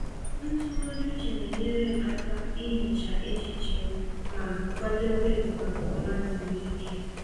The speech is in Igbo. Ntụgharị uche na-enyere m aka ihicha echiche m ma kwadebe m maka ụra zuru ike.